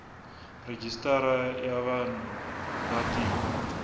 rejistara ya vanhu va tiko